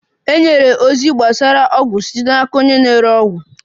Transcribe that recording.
E nyere ozi gbasara ọgwụ site n'aka onye na-ere ọgwụ.